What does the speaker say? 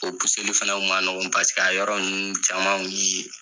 O fɛnɛ o ma nɔgɔ paseke a yɔrɔ nunnu caman u yee.